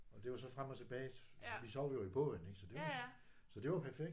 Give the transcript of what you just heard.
Og det var så frem og tilbage. Vi sov jo i båden ikk så det var så det var perfekt